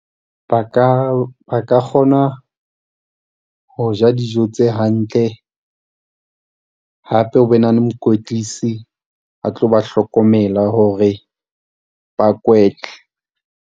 Ba ka, ba ka kgona ho ja dijo tse hantle, hape ho be na le mokwetlisi a tlo ba hlokomela hore ba .